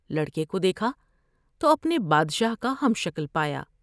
لڑکے کو دیکھا تو اپنے بادشاہ کا ہم شکل پایا ۔